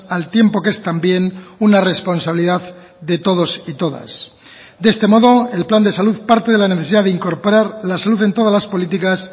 al tiempo que es también una responsabilidad de todos y todas de este modo el plan de salud parte de la necesidad de incorporar la salud en todas las políticas